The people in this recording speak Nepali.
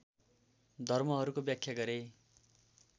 धर्महरूको व्याख्या गरे